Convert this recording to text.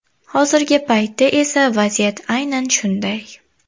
Hozirgi paytda esa vaziyat aynan shunday.